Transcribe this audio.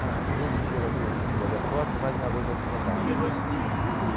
Ah, todo dia vai ter pedido de habeas corpus e mais uma vez vai ser negado.